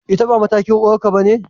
Ita ba matakin uwarka bane?